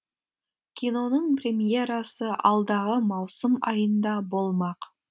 киноның премьерасы алдағы маусым айында болмақ